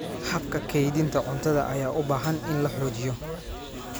Habka kaydinta cuntada ayaa u baahan in la xoojiyo.